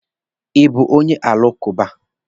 Ị bụ onye alakụba?